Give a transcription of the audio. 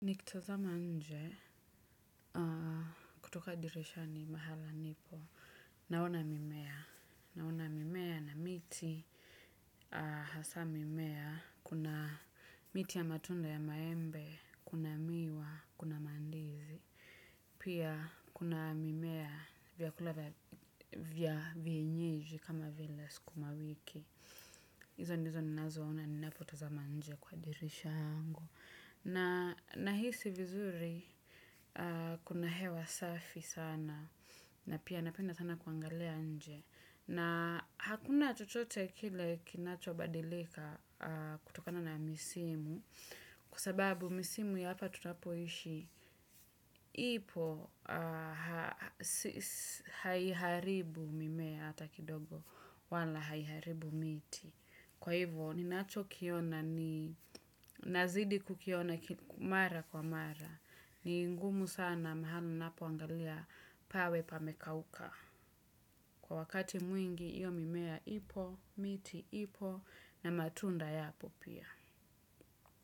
Nikitazama nje kutoka dirishani mahala nipo. Naona mimea. Naona mimea na miti hasa mimea. Kuna miti ya matunda ya maembe, kuna miwa, kuna mandizi. Pia kuna mimea vyakulav vya vya vienyeji kama vile sukuma wiki. Izo ndizo nnazo ona ninapotaza njee kwa dirisha yangu. Nahisi vizuri kuna hewa safi sana na pia napenda sana kuangalia nje. Na hakuna chochoche kile kinacho badilika kutokana na misimu kwasababu misimu ya hapa tutapoishi ipo haiharibu mimea ata kidogo wala haiharibu miti. Kwa hivyo, ni nazidi kukiona mara kwa mara, ni ngumu sana mahali ninapo angalia pawe pamekauka. Kwa wakati mwingi, iyo mimea ipo, miti ipo, na matunda yapo pia.